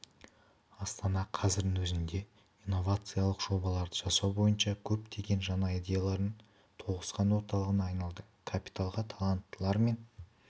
астана қазірдің өзінде инновациалық жобаларды жасау бойынша көптеген жаңа идеялардың тоғысқан орталығына айналды капиталға таланттылар мен